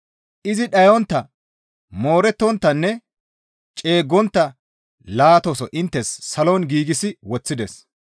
Izi dhayontta, moorettonttanne ceeggontta laataso inttes salon giigsi woththides.